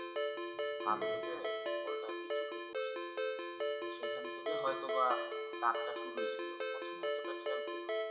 লেগে বলটা আরকি চোখে এসেছিলো তো সেখান থেকে হয়তো বা দাগটা শুরু হয়েছিল প্রথমে অতটা খেয়াল করিনি